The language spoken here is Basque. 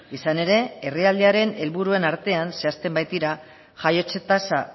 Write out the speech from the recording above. izan ere herrialdearen helburuen artean zehazten baitira jaiotze tasa